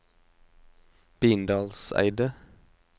Bindalseidet